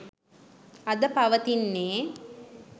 අද පවතින්නේ.